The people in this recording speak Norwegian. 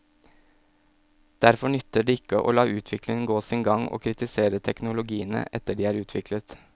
Derfor nytter det ikke å la utviklingen gå sin gang og kritisere teknologiene etter at de er utviklet.